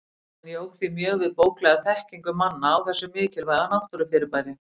Hann jók því mjög við bóklega þekkingu manna á þessu mikilvæga náttúrufyrirbæri.